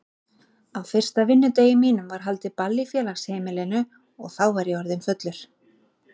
Á fyrsta vinnudegi mínum var haldið ball í félagsheimilinu og þá var ég orðinn fullur.